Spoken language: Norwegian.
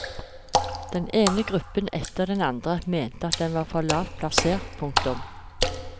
Den ene gruppen etter den andre mente at den var for lavt plassert. punktum